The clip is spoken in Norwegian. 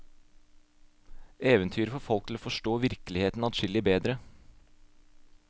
Eventyret får folk til å forstå virkeligheten adskillig bedre.